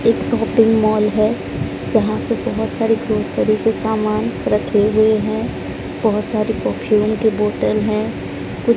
एक shopping mall हैं जहाँ पे बहोत सारी ग्रोसरी के सामान रखें हुए हैं बहोत सारी परफ्यूम की बोतल हैं कु --